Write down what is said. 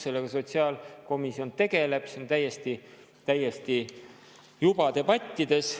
Sellega sotsiaalkomisjon tegeleb, see on täiesti juba debattides.